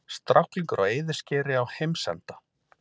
Stráklingur á eyðiskeri á heimsenda?